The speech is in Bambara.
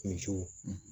Muso